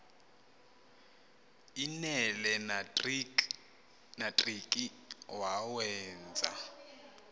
l nelenatriki wawenza